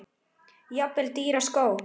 Jafnvel dýra skó?